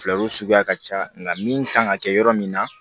Fulaw suguya ka ca nka min kan ka kɛ yɔrɔ min na